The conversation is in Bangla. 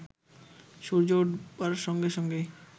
সূর্য উঠবার সঙ্গে সঙ্গে